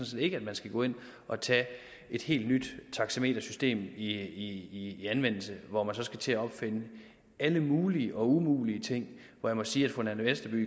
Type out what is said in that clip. set ikke at man skal gå ind og tage et helt nyt taxametersystem i anvendelse hvor man så skal til at opfinde alle mulige og umulige ting her må jeg sige at fru nanna westerby